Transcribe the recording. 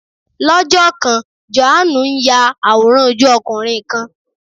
Lọ́jọ́ kan, Jòhánù ń ya àwòrán ojú ọkùnrin kan